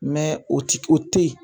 o ti o te ye